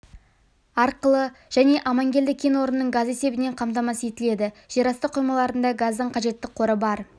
арқылы және амангелді кен орнының газы есебінен қамтамасыз етіледі жерасты қоймаларында газдың қажетті қоры бар